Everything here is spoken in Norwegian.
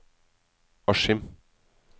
Askim